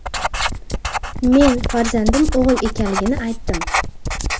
Men farzandim o‘g‘il ekanligini aytdim.